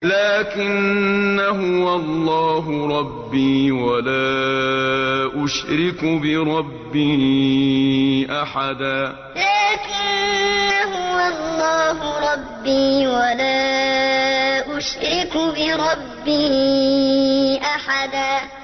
لَّٰكِنَّا هُوَ اللَّهُ رَبِّي وَلَا أُشْرِكُ بِرَبِّي أَحَدًا لَّٰكِنَّا هُوَ اللَّهُ رَبِّي وَلَا أُشْرِكُ بِرَبِّي أَحَدًا